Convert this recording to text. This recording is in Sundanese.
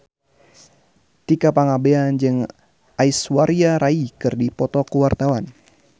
Tika Pangabean jeung Aishwarya Rai keur dipoto ku wartawan